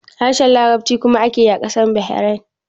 Harshen Larabci kuma ake yi a ƙasar Bahrain